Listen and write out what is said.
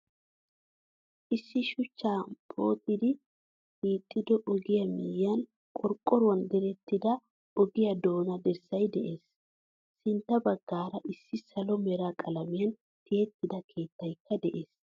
Issi shuchcha pooxidi hiixido ogiyaa miyiyan qorqoruwan direttida ogiya doona dirssay de'ees. Sintta baggaara issi salo mera qalamiyan tiyettida keetaykka de'ees.